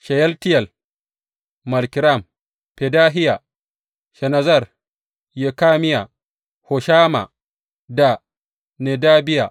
Sheyaltiyel, Malkiram, Fedahiya, Shenazzar, Yekamiya, Hoshama da Nedabiya.